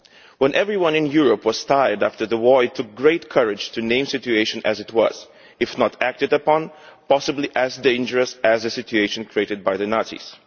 When everyone in Europe was tired after the war, it took great courage to name the situation, as it was if not acted upon possibly as dangerous as the situation created by the Nazis.